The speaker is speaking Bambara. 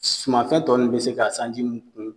Sumanfɛ tɔ nu be se ka sanji mu ku